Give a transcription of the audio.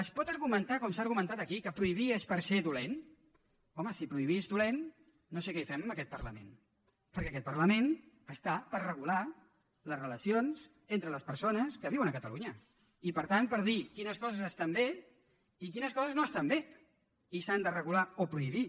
es pot argumentar com s’ha argumentat aquí que prohibir és per se dolent home si prohibir és dolent no sé què hi fem en aquest parlament perquè aquest parlament està per regular les relacions entre les persones que viuen a catalunya i per tant per dir quines coses estan bé i quines coses no estan bé i s’han de regular o prohibir